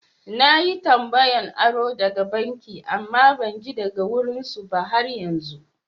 Na yi tambayan aro daga banki amma ban ji daga wurin su ba har yanzu.